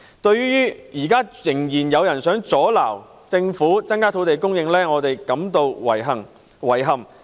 對於現時仍然有人想阻撓政府增加土地供應，我們感到遺憾，以及對於他們......